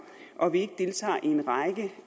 og at vi ikke deltager i en række